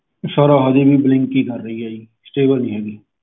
sir ਹਲੇ ਵੀ blink ਹੀ ਕਰ ਰਹੀ ਆ ਜੀ stable ਨੀ ਹੈਗੀ